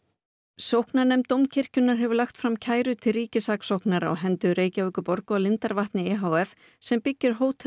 sóknarnefnd Dómkirkjunnar hefur lagt fram kæru til ríkissaksóknara á hendur Reykjavíkurborg og lindarvatni e h f sem byggir hótel